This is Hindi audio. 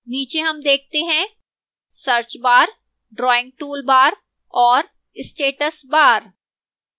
नीचे हम देखते हैं search bar drawing toolbar और status bar